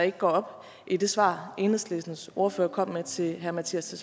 ikke går op i det svar enhedslistens ordfører kom med til herre mattias